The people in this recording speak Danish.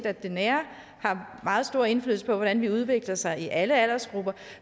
at det nære har meget stor indflydelse på hvordan man udvikler sig i alle aldersgrupper